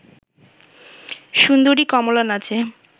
সুন্দরী কমলা নাচে